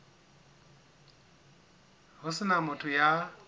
ho se na motho ya